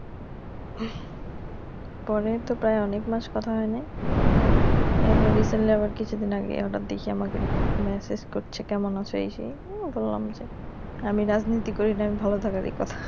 পরে তো প্রায় অনেক মাস কথা হয়নাই এখন রিসেন্টলি আবার কিছুদিন আগে হঠাৎ দেখি আমাকে মেসেজ করছে কেমন আছো এই সেই হম বললাম যে আমি রাজনীতি করি না আমি ভালো থাকারই কথা